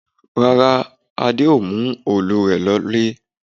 Rárá, Adé ò mú òòlù rẹ lọlé